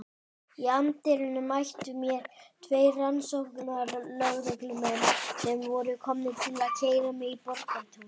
Í anddyrinu mættu mér tveir rannsóknarlögreglumenn sem voru komnir til að keyra mig í Borgartún.